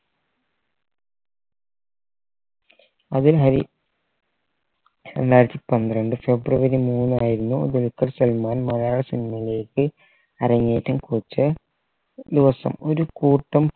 അതിനായി രണ്ടായിരത്തി പന്ത്രണ്ട് ഫെബ്രുവരി മൂന്നായിരുന്നു ദുൽഖർ സൽമാൻ മലയാള cinema യിലേക്ക് അരങ്ങേറ്റം കുറിച്ച ദിവസം ഒരു കൂട്ടം